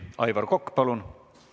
Aivar Kokk, palun!